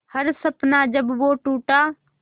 हर सपना जब वो टूटा